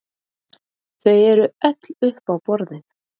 Þau eru öll uppi á borðinu